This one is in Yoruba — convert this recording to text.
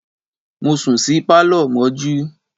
Mo sùn sí Pálọ̀ mọ́jú.